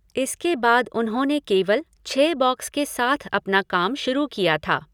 इसके बाद उन्होंने केवल छः बॉक्स के साथ अपना काम शुरू किया था।